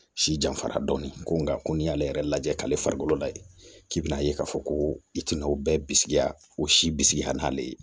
Si janfara dɔɔni ko ŋa ko n'i y'ale yɛrɛ lajɛ k'ale farikolo la yen k'i bɛna'a ye k'a fɔ ko i tina o bɛɛ bisigiya o si bisigi hali n'ale ye